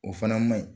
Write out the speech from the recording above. O fana maɲi